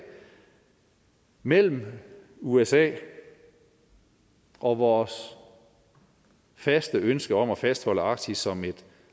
mellem usa og vores faste ønske om at fastholde arktis som et